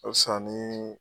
O ka fisa nin